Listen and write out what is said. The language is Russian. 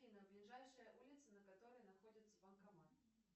афина ближайшая улица на которой находится банкомат